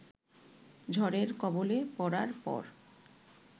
ঝড়ের কবলে পড়ার পর